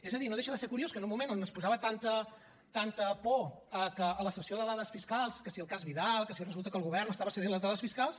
és a dir no deixa de ser curiós que en un moment on es posava tanta por a que la cessió de dades fiscals que si el cas vidal que si resulta que el govern estava cedint els dades fiscals